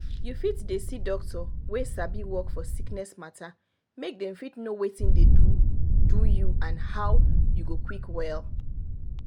you fit dey see doctor wey sabi work for sickness matter make dem fit know watin dey do do you and how you go quick well.